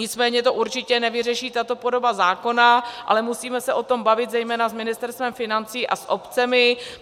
Nicméně to určitě nevyřeší tato podoba zákona, ale musíme se o tom bavit zejména s Ministerstvem financí a s obcemi.